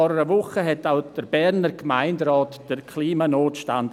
Vor einer Woche erklärte denn auch der Berner Gemeinderat den Klimanotstand.